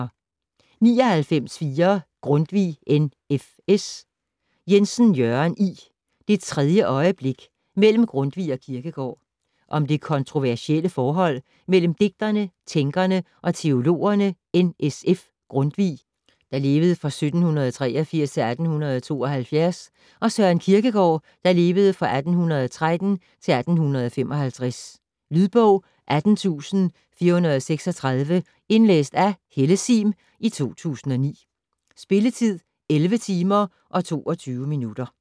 99.4 Grundtvig, N. F. S. Jensen, Jørgen I.: - det tredje øjeblik: mellem Grundtvig og Kierkegaard Om det kontroversielle forhold mellem digterne, tænkerne og teologerne N.S.F. Grundtvig (1783-1872) og Søren Kierkegaard (1813-1855). Lydbog 18436 Indlæst af Helle Sihm, 2009. Spilletid: 11 timer, 22 minutter.